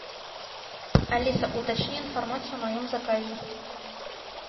алиса уточни информацию о моем заказе